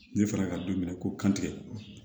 Ne fɔra ka don minɛ ko kantigɛ